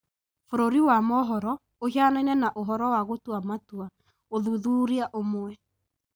Bũrũri wa mohoro ũhianaine na ũhoro wa gũtua matua (ũthuthuria ũmwe)